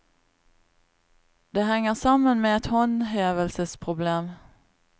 Det henger sammen med et håndhevelsesproblem.